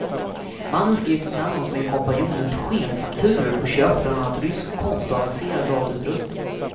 Mannen skrev tillsammans med en kompanjon ut skenfakturor på köp av bland annat rysk konst och avancerad datautrustning.